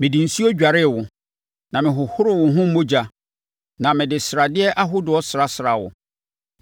“ ‘Mede nsuo dwaree wo, na mehohoroo wo ho mogya na mede sradeɛ ahodoɔ srasraa wo.